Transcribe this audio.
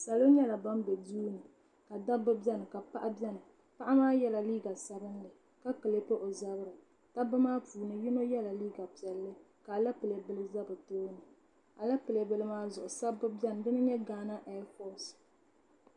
Salo nyɛla ban be duuni ka dabba biɛni ka paɣa biɛni paɣa maa yela liiga sabinli ka kilipi o zabri dabba maa puuni yino yela liiga piɛlli ka alapilee bila za di tooni alapilee bila maa zuɣu sabbu biɛni dina n nyɛ gaana ɛɛfoosi.